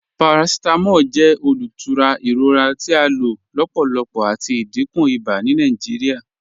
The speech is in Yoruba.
Paracetamol jẹ olútúrà iròra tí a ló lọ́pọ̀lọ́pọ̀ àti ìdíkún ìbà ni Nàìjíríà.